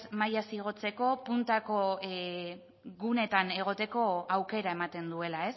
mailaz igotzeko puntako guneetan egoteko aukera ematen duela